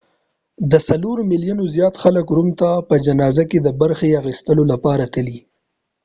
د څلورو میلیونو زیات خلک روم ته په جنازه کې د برخې اخیستلو لپاره تللي